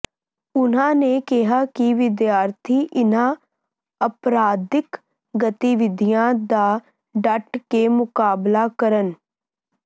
ਉਨ੍ਹਾਂ ਨੇ ਕਿਹਾ ਕਿ ਵਿਦਿਆਰਥੀ ਇੰਨ੍ਹਾਂ ਅਪਰਾਧਿਕ ਗਤੀਵਿਧੀਆਂ ਦਾ ਡਟ ਕੇ ਮੁਕਾਬਲਾ ਕਰਨ